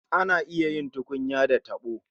Ana iya yin tukunya da tabo